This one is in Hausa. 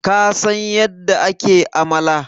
kasan yadda ake amala?